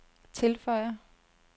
tilføjer